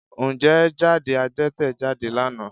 Ǹjẹ́ jáde Adẹ́tẹ̀ jáde lánàá?